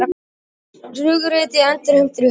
Flugriti endurheimtur í hafinu